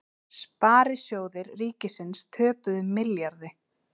Sparisjóðir ríkisins töpuðu milljarði